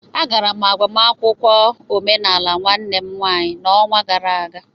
Agara m agbamakwụkwọ omenaala nwanne m nwaanyị n'ọnwa gara aga